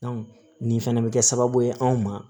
nin fɛnɛ bɛ kɛ sababu ye anw ma